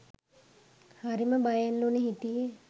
හරිම බයෙන්ලුනෙ හිටියෙ.